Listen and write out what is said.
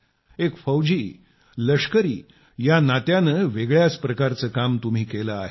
एक फौजीलष्करी या नात्यानं वेगळ्याच प्रकारचं काम तुम्ही केलं आहे